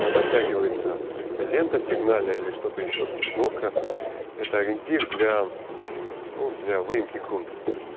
натягивается лента сигнальная или что-то ещё там шнурка это ориентир для ну для выемки грунта